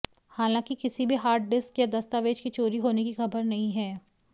हालांकि किसी भी हार्ड डिस्क या दस्तावेज के चोरी होने की खबर नहीं है